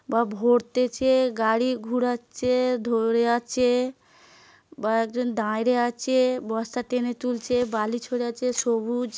বা ভরতেছে গাড়ী ঘুরাচ্ছে ধরে আছে বা একজন দাঁড়িয়ে আছে বস্তা টেনে তুলছে বালি ছুড়েছে সবুজ ।